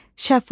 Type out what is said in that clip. Şəfa,